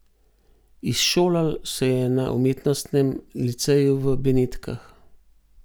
Izšolal se je na umetnostnem liceju v Benetkah.